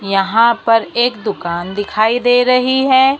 यहां पर एक दुकान दिखाई दे रही है।